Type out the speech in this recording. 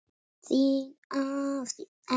Þín, Ásdís Elva.